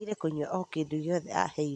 Aregire kũnyua o kĩndũgĩothe aheirwo